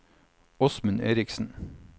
Åsmund Erichsen